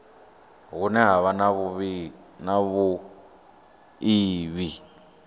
hune ha vha na vhuiivhi